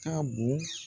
Ka bon